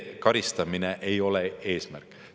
Karistamine ei ole eesmärk.